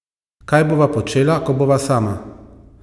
Kaj bova počela, ko bova sama?